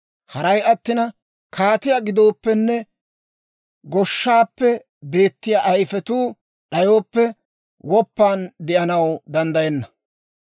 Haray attina, kaatiyaa gidooppenne, goshshaappe beettiyaa ayifetuu d'ayooppe, woppan de'anaw danddayenna.